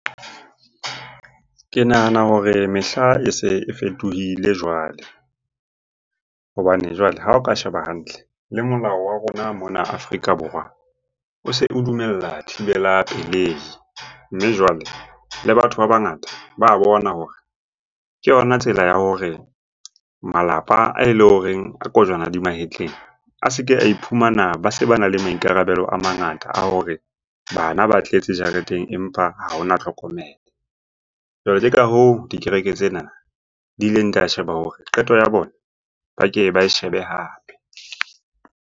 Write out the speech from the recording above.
Ke nahana hore mehla e se e fetohile jwale. Hobane jwale ha o ka sheba hantle le molao wa rona mona Afrika Borwa, o se o dumella thibela pelei. Mme jwale le batho ba bangata ba bona hore ke yona tsela ya hore malapa ae leng horeng a kojwana di mahetleng a se ke a iphumana ba se bana le maikarabelo a mangata a hore bana ba tletse dijareteng empa ha hona tlhokomelo. Jwale ke ka hoo dikereke tsena di ileng di a sheba hore qeto ya bona ba ke ba e shebe hape.